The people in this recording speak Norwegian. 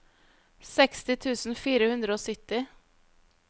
seksti tusen fire hundre og sytti